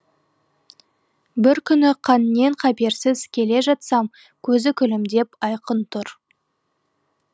бір күні қаннен қаперсіз келе жатсам көзі күлімдеп айқын тұр